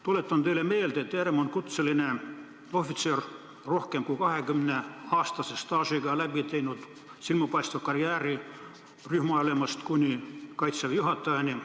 Tuletan teile meelde, et Herem on rohkem kui 20 aasta pikkuse staažiga kutseline ohvitser, kes on läbi teinud silmapaistva karjääri rühmaülemast kuni Kaitseväe juhatajani.